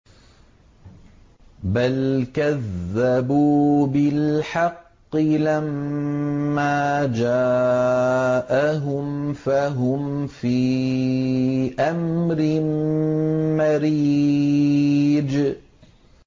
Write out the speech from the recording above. بَلْ كَذَّبُوا بِالْحَقِّ لَمَّا جَاءَهُمْ فَهُمْ فِي أَمْرٍ مَّرِيجٍ